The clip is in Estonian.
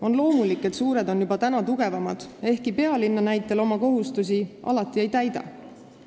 On loomulik, et suured on juba praegu tugevamad ehkki pealinna näitel võib öelda, et nad oma kohustusi alati ei täida.